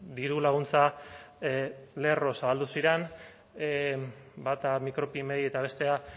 diru laguntza lerro zabaldu ziren bata micropymei eta bestea